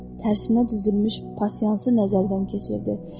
Tərsinə düzülmüş pasiyansını nəzərdən keçirdi.